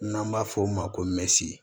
N'an b'a f'o ma ko mesi